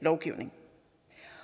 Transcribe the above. lovgivning